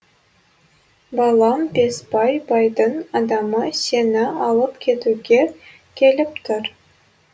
балам бесбай байдың адамы сені алып кетуге келіп тұр